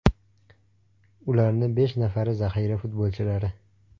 Ularni besh nafari zaxira futbolchilari.